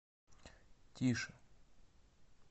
тише